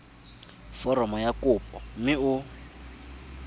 foromo ya kopo mme o